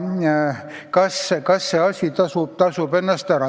Kas see asi ikka tasub ennast ära?